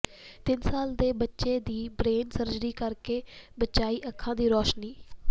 ਤਿੰਨ ਸਾਲ ਦੇ ਬੱਚੇ ਦੀ ਬਰੇਨ ਸਰਜਰੀ ਕਰਕੇ ਬਚਾਈ ਅੱਖਾਂ ਦੀ ਰੌਸ਼ਨੀ